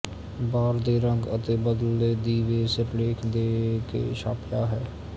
ਬਾਰ ਦੇ ਰੰਗ ਅਤੇ ਬਲਦੇ ਦੀਵੇ ਸਿਰਲੇਖ ਦੇ ਕੇ ਛਾਪਿਆ ਹੈ